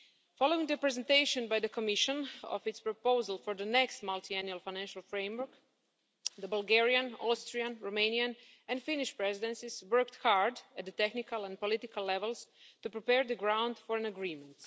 Following the presentation by the Commission of its proposal for the next Multiannual Financial Framework, the Bulgarian, Austrian, Romanian and Finnish Presidencies worked hard at the technical and political levels to prepare the ground for an agreement.